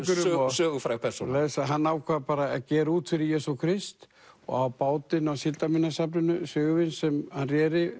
sögufræg persóna hann ákvað bara að gera út fyrir Jesú Krist og á bátinn á Síldarminjasafninu Sigurvin sem hann